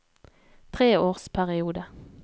treårsperiode